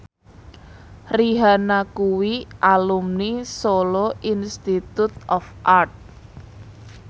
Rihanna kuwi alumni Solo Institute of Art